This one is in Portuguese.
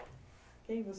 Quem você...